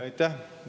Aitäh!